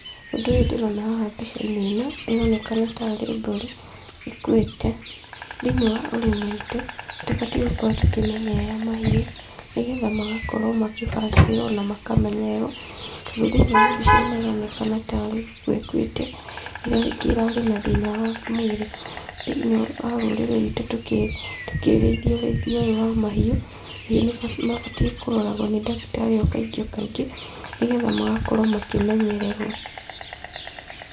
Ũndũ ũyũ ndĩrona haha mbica-inĩ ĩno, ĩronekana ta rĩ mbũri ikuĩte. Thĩiniĩ wa ũrĩmi witũ, nĩtũbatiĩ gũkorwo tũkĩmenyerera mahiũ, nĩgetha magakorwo makĩbacĩrĩrwo, na makamenyererwo. Tondũ thĩiniĩ wa mbica ĩno ĩronekana tarĩ gũkua ĩkuĩte, rĩngĩ ĩrarĩ na thĩna wa mwĩrĩ. Thĩiniĩ wa rũrĩrĩ rwitũ tũkĩrĩithia ũrĩithi ũyũ wa mahiũ, mahiũ nĩmabatiĩ kũroragwo nĩ ndagĩtarĩ o kaingĩ o kaingĩ, nĩgetha magakorwo makĩmenyererwo.